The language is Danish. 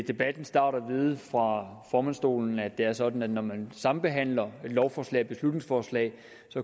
debattens start at vide fra formandsstolen at det er sådan at når man sambehandler et lovforslag og et beslutningsforslag